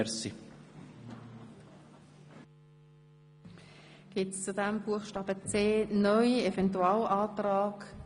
Wünschen Fraktionssprecher das Wort zu diesem Eventualantrag?